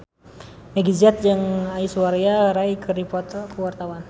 Meggie Z jeung Aishwarya Rai keur dipoto ku wartawan